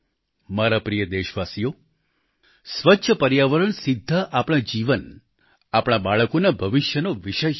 મારા પ્રિય દેશવાસીઓ સ્વચ્છ પર્યાવરણ સીધા આપણા જીવન આપણા બાળકોના ભવિષ્યનો વિષય છે